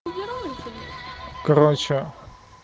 короче